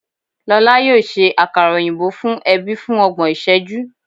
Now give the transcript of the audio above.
Lọla yoo ṣe akara oyinbo fun ẹbi fun ọgbọn iṣẹju